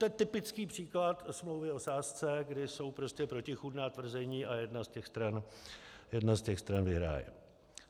To je typický příklad smlouvy o sázce, když jsou prostě protichůdná tvrzení a jedna z těch stran vyhraje.